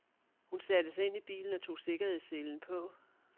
Hun satte sig ind i bilen og tog sikkerhedsselen på.